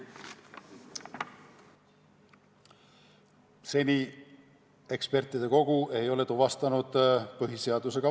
Seni ekspertide kogu ei ole tuvastanud vastuolu põhiseadusega.